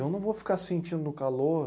Eu não vou ficar sentindo o calor...